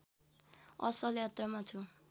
असल यात्रामा छु